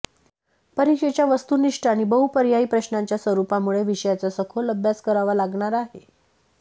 परीक्षेच्या वस्तुनिष्ठ आणि बहुपर्यायी प्रश्नांच्या स्वरूपामुळे विषयाचा सखोल अभ्यास करावा लागणार आहे